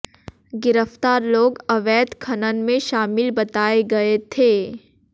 गिरफ्तार लोग अवैध खनन में शामिल बताये गए थे